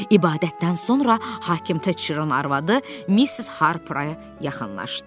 İbadətdən sonra hakim Teçeron arvadı Missis Harpara yaxınlaşdı.